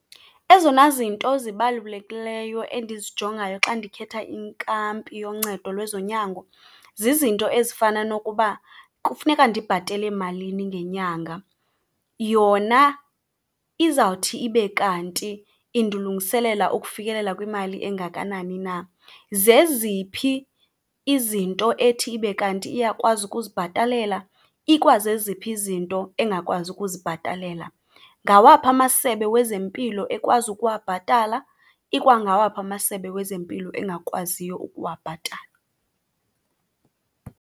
Ezona zinto zibalulekileyo endizijongayo xa ndikhetha inkampi yoncedo lwezonyango zizinto ezifana nokuba kufuneka ndibhatele malini ngenyanga. Yona izawuthi ibe kanti indilungiselela ukufikelela kwimali engakanani na? Zeziphi izinto ethi ibe kanti iyakwazi ukuzibhatalela, ikwazeziphi izinto engakwazi ukuzibhatala? Ngawaphi amasebe wezempilo ekwazi ukuwabhatala, ikwangawaphi amasebe wezempilo engakwaziyo ukuwabhatala?